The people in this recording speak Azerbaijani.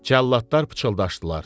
Cəlladlar pıçıldaşdılar.